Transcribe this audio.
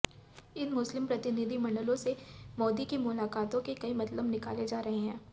इन मुस्लिम प्रतिनिधिमंडलों से मोदी की मुलाकातों के कई मतलब निकाले जा रहे हैं